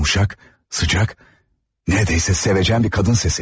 Yumuşaq, sıcak, neredeyse seveceyen bir qadın sesi.